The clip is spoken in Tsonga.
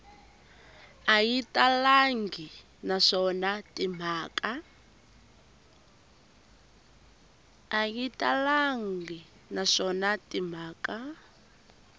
a yi talangi naswona timhaka